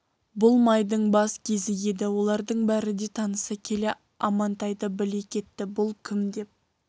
бұл майдың бас кезі еді олардың бәрі де таныса келе амантайды біле кетті бұл кім деп